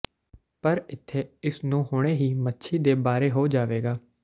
ਪਰ ਇੱਥੇ ਇਸ ਨੂੰ ਹੁਣੇ ਹੀ ਮੱਛੀ ਦੇ ਬਾਰੇ ਹੋ ਜਾਵੇਗਾ